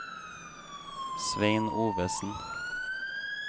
Svein Ovesen